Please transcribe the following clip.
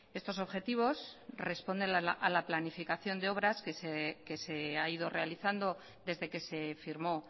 estos objetivos responden a la planificación de obras que se ha ido realizando desde que se firmó